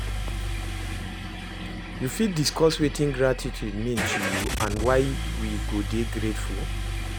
You fit discuss wetin gratitude mean to you and why we go dey grateful?